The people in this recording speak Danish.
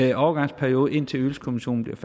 i overgangsperioden indtil ydelseskommissionen bliver